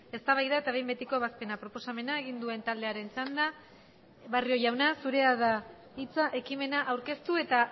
eztabaida eta behin betiko ebazpena proposamena egin duen taldearen txanda barrio jauna zurea da hitza ekimena aurkeztu eta